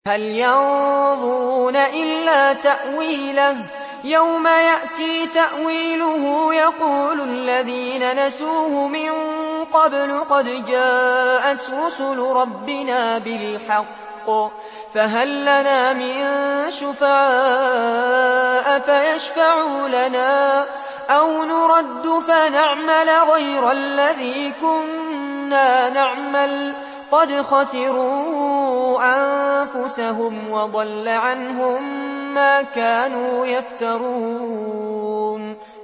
هَلْ يَنظُرُونَ إِلَّا تَأْوِيلَهُ ۚ يَوْمَ يَأْتِي تَأْوِيلُهُ يَقُولُ الَّذِينَ نَسُوهُ مِن قَبْلُ قَدْ جَاءَتْ رُسُلُ رَبِّنَا بِالْحَقِّ فَهَل لَّنَا مِن شُفَعَاءَ فَيَشْفَعُوا لَنَا أَوْ نُرَدُّ فَنَعْمَلَ غَيْرَ الَّذِي كُنَّا نَعْمَلُ ۚ قَدْ خَسِرُوا أَنفُسَهُمْ وَضَلَّ عَنْهُم مَّا كَانُوا يَفْتَرُونَ